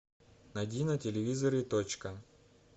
найди на телевизоре точка